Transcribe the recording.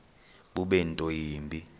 bube nto yimbi